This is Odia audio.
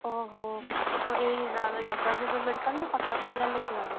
ଓହୋ, କୋଉ ଏଇ ନର~ ଜଗତସିଂହପୁର medical ନାକଟକ medical ନେଇକି ଗଲ?